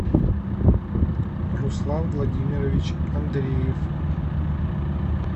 руслан владимирович андреев